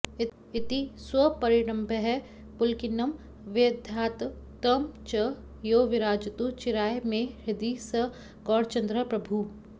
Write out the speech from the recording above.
इति स्वपरिरम्भणैः पुलकिनं व्यधात् तं च यो विराजतु चिराय मे हृदि स गौरचन्द्रः प्रभुः